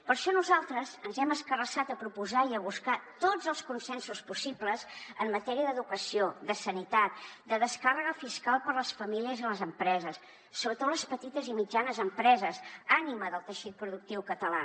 per això nosaltres ens hem escarrassat a proposar i a buscar tots els consensos possibles en matèria d’educació de sanitat de descàrrega fiscal per a les famílies i les empreses sobretot les petites i mitjanes empreses ànima del teixit productiu català